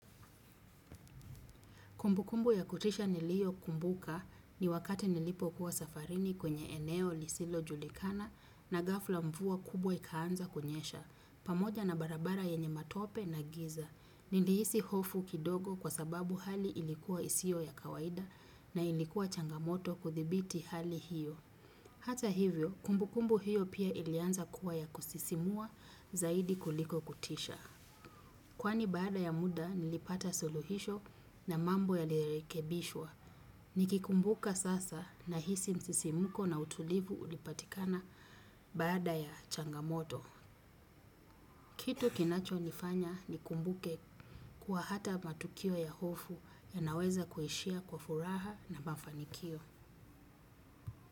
Kumbu kumbu ya kutisha niliyo kumbuka ni wakati nilipo kuwa safarini kwenye eneo lisilo julikana na gafla mvua kubwa ikaanza kunyesha. Pamoja na barabara yenye matope na giza. Nilihisi hofu kidogo kwa sababu hali ilikuwa isio ya kawaida na ilikuwa changamoto kuthibiti hali hiyo. Hata hivyo, kumbu kumbu hiyo pia ilianza kuwa ya kusisimua zaidi kuliko kutisha. Kwani baada ya muda nilipata suluhisho na mambo ya lirekebishwa. Nikikumbuka sasa na hisi msisimko na utulivu ulipatikana baada ya changamoto. Kitu kinacho nifanya nikumbuke kuwa hata matukio ya hofu ya naweza kuishia kwa furaha na mafanikio.